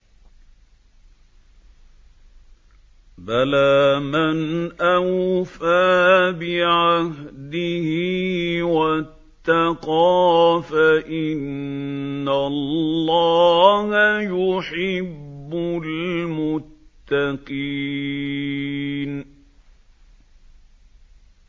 بَلَىٰ مَنْ أَوْفَىٰ بِعَهْدِهِ وَاتَّقَىٰ فَإِنَّ اللَّهَ يُحِبُّ الْمُتَّقِينَ